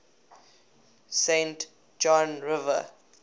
saint john river